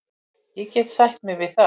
Ég get sætt mig við það.